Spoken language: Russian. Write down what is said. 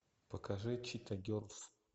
покажи чита герлз